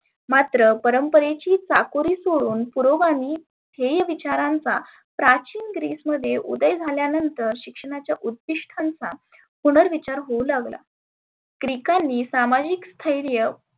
मात्र परंपरेची चाकोरी सोडुन पुरोगामी ध्येय विचारांचा प्राचीन ग्रिस मध्ये उदय झाल्यानंतर शिक्षणाच्या उद्दीष्ठांचा पुनर विचार होऊ लागला. ग्रिकांनीं समाजीक स्थैर्य